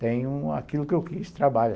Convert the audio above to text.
Tenho aquilo que eu quis, trabalho.